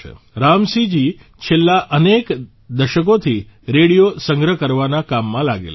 રામસિંહજી છેલ્લા અનેક દશકોથી રેડિયો સંગ્રહ કરવાના કામમાં લાગેલા છે